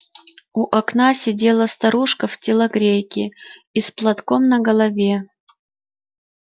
у окна сидела старушка в телогрейке и с платком на голове